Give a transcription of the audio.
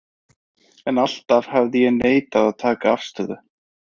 En alltaf hafði ég neitað að taka afstöðu.